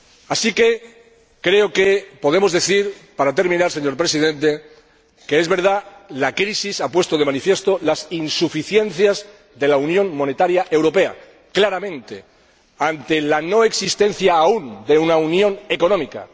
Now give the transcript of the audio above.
Así pues, creo que podemos decir —para terminar, señor Presidente— que es verdad que la crisis ha puesto claramente de manifiesto las insuficiencias de la unión monetaria europea ante la no existencia aún de una unión económica